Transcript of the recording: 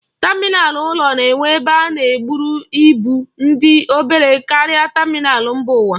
Tamịnal ụlọ na-enwe ebe a na-eburu ibu dị obere karịa tamịnal mba ụwa.